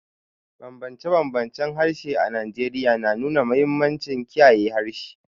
Bambance-bambancen harshe a Najeriya na nuna mahimmancin kiyaye harshe.